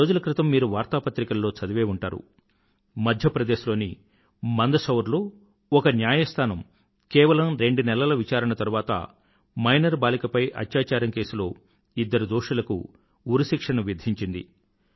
కొద్ది రోజుల క్రితం మీరు వార్తాపత్రికలలో చదివే ఉంటారు మధ్య ప్రదేశ్ లోని మందశౌర్ లో ఒక న్యాయస్థానం కేవలం రెండు నెలల విచారణ తరువాత మైనరు బాలికపై అత్యాచారం కేసులో ఇద్దరు దోషులకు ఉరిశిక్షను విధించింది